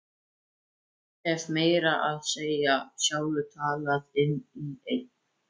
Ég hef meira að segja sjálfur talað inn í einn.